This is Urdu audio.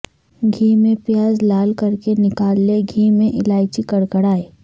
گھی میں پیاز لال کرکے نکال لیں گھی میں الائچی کڑ کڑائیں